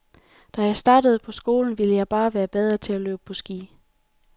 Da jeg startede på skolen, ville jeg bare være bedre til at løbe på ski.